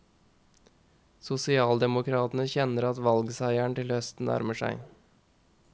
Sosialdemokratene kjenner at valgseieren til høsten nærmer seg.